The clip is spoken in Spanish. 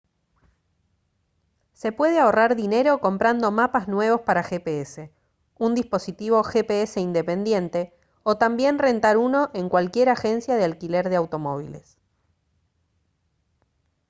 se puede ahorrar dinero comprando mapas nuevos para gps un dispositivo gps independiente o también rentar uno en cualquier agencia de alquiler de automóviles